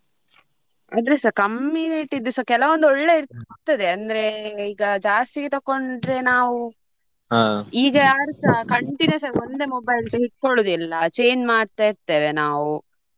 ಆದ್ರೂಸ ಕಮ್ಮಿ ಕೆಲವೊಂದು ಒಳ್ಳೆ ಇರ್ತದೆ ಅಂದ್ರೆ ಈಗ ಜಾಸ್ತಿ ತಕೊಂಡ್ರೆ ನಾವು ಈಗ ಯಾರುಸ continuous ಆಗಿ ಒಂದೇ mobiles ಇಡ್ಕೊಳುದಿಲ್ಲ change ಮಾಡ್ತಾ ಇರ್ತೆವೆ ನಾವು.